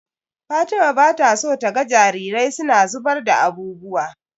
Fatima bata so taga jarirai suna zubar da abubuwa.